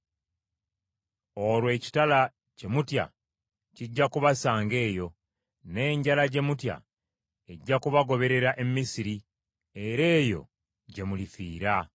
olwo ekitala kye mutya kijja kubasanga eyo, n’enjala gye mutya ejja kubagoberera e Misiri era eyo gye mulifiira.